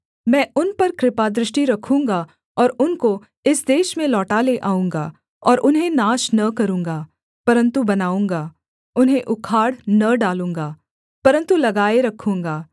मैं उन पर कृपादृष्टि रखूँगा और उनको इस देश में लौटा ले आऊँगा और उन्हें नाश न करूँगा परन्तु बनाऊँगा उन्हें उखाड़ न डालूँगा परन्तु लगाए रखूँगा